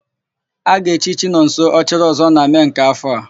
A ga-echi Chinọnso, Ọchịrịọzụọ na Mee nke áfọ̀ a.